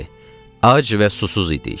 Ac və susuz idik.